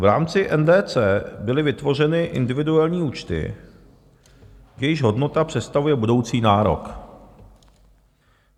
V rámci NDC byly vytvořeny individuální účty, jejichž hodnota představuje budoucí nárok.